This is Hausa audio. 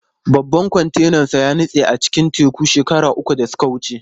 Babban kwantenansa ya nutse a cikin teku shekaru da suka wuce.